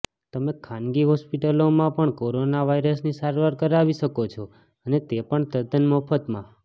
તમે ખાનગી હોસ્પિટલોમાં પણ કોરોના વાયરસની સારવાર કરાવી શકો છો અને તે પણ તદ્દન મફતમાં